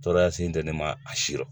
Tɔɔrɔya sen tɛ ne ma a si rɔ.